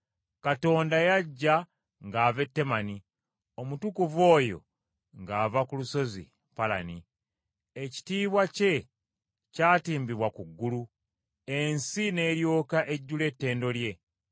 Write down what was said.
Katonda yajja ng’ava e Temani, Omutukuvu oyo ng’ava ku lusozi Palani. Ekitiibwa kye kyatimbibwa ku ggulu, ensi n’eryoka ejjula ettendo lye.